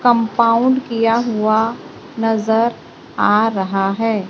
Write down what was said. Compound किया हुआ नजर आ रहा है।